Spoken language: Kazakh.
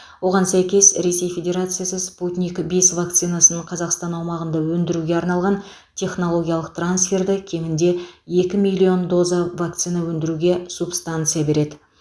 оған сәйкес ресей федерациясы спутник бес вакцинасын қазақстан аумағында өндіруге арналған технологиялық трансферді кемінде екі миллион доза вакцина өндіруге субстанция береді